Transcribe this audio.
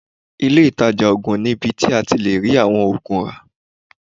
Ilé ìtàjà oògùn ni ibi tí a ti lè rí àwọn oògùn rà.